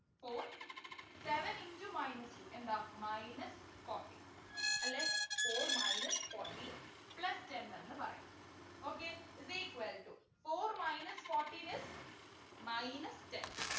Four seven into minus two എന്താ minus fourteen അല്ലേ four minus fourteen plus ten എന്നു പറയാം okay is equal to four minus fourteen is minus ten